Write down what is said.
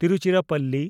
Tiruchirappalli